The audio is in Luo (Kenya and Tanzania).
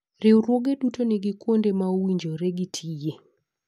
Riwruoge duto nigi kuonde ma owinjore ma gtiye.